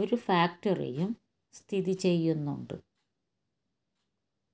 ഒരു ഫാക്ടറിയും സ്ഥിതിചെയ്യുന്നുണ്ട്